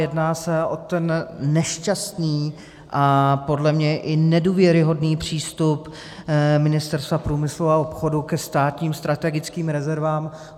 Jedná se o ten nešťastný a podle mě i nedůvěryhodný přístup Ministerstva průmyslu a obchodu ke státním strategickým rezervám.